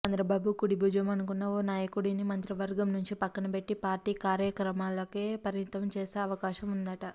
చంద్రబాబు కుడిభుజం అనుకున్న ఓ నాయకుడిని మంత్రివర్గం నుంచి పక్కనబెట్టి పార్టీ కార్యక్రమాలకే పరిమితం చేసే అవకాశం ఉందట